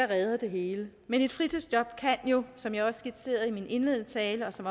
redder det hele men et fritidsjob kan jo som jeg også skitserede i min indledende tale og som